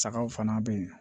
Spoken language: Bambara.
Sagaw fana bɛ yen